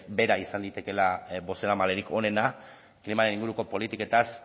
bera izan daitekeela bozeramalerik onena klimaren inguruko politiketaz